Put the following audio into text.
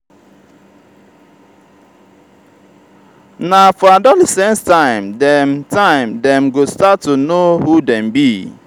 na for adolescence time dem time dem go start to know who dem be.